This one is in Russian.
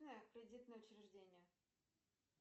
кредитное учреждение